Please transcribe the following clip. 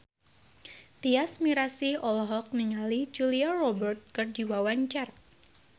Tyas Mirasih olohok ningali Julia Robert keur diwawancara